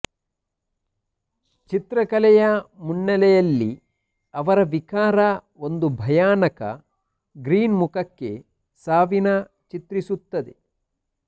ಚಿತ್ರಕಲೆಯ ಮುನ್ನೆಲೆಯಲ್ಲಿ ಅವರ ವಿಕಾರ ಒಂದು ಭಯಾನಕ ಗ್ರಿನ್ ಮುಖಕ್ಕೆ ಸಾವಿನ ಚಿತ್ರಿಸುತ್ತದೆ